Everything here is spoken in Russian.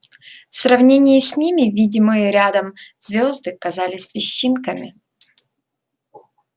в сравнении с ними видимые рядом звёзды казались песчинками